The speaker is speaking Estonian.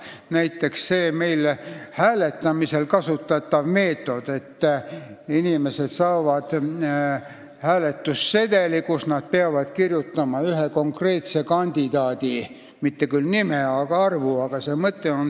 Näiteks, see hääletamisel kasutatav meetod, et inimesed saavad hääletussedeli, kuhu nad peavad kirjutama ühe konkreetse kandidaadi, mitte küll tema nime, vaid numbri.